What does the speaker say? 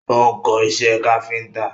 Ó ń kọ́ isẹ́ káfíntà.